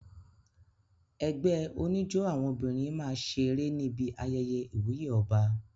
Ẹgbẹ́ oníjó àwọn obìnrin máa ṣe eré níbi ayẹyẹ ìwúyè ọba.